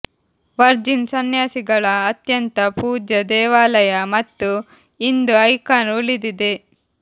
Virgin ಸನ್ಯಾಸಿಗಳ ಅತ್ಯಂತ ಪೂಜ್ಯ ದೇವಾಲಯ ಮತ್ತು ಇಂದು ಐಕಾನ್ ಉಳಿದಿದೆ